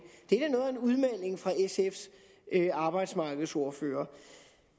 udmelding fra sfs arbejdsmarkedsordfører